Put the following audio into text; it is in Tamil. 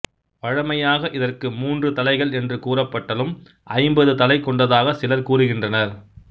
வழமையாக இதற்கு மூன்று தலைகள் என்று கூறபட்டலும் ஐம்பது தலை கொண்டதாக சிலர் கூறுகின்றனர்